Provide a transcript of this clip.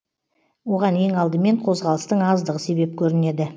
оған ең алдымен қозғалыстың аздығы себеп көрінеді